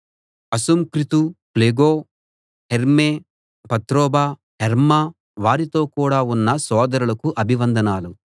Asyncritus Phlegon Hermes Patrobas Hermas వారితో కూడా ఉన్న సోదరులకు అభివందనాలు